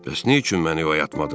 Bəs nə üçün məni oyatmadın?